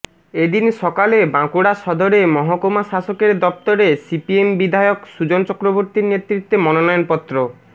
এ দিন সকালে বাঁকুড়া সদরে মহকুমা শাসকের দফতরে সিপিএম বিধায়ক সুজন চক্রবর্তীর নেতৃত্বে মনোনয়ন পত্র